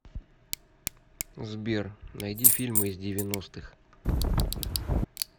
сбер найди фильмы из девяностых